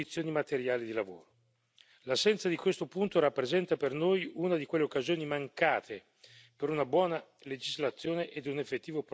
L'assenza di questo punto rappresenta per noi una di quelle occasioni mancate per una buona legislazione e un effettivo progresso per i soggetti più deboli.